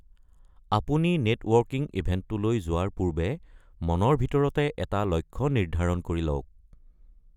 আপুনি নেটৱৰ্কিং ইভেণ্টটোলৈ যোৱাৰ পূৰ্বে মনৰ ভিতৰতে এটা লক্ষ্য নিৰ্ধাৰণ কৰি লওক।